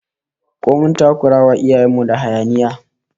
Ko mun takurawa iyayen mu da hayaniya?